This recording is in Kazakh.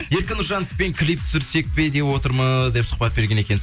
еркін нұржановпен клип түсірсек пе деп отырмыз деп сұхбат берген екенсіз